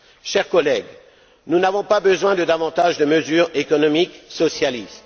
Chers collègues, nous n'avons pas besoin de davantage de mesures économiques socialistes.